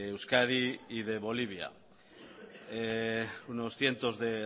euskadi y de bolivia unos cientos de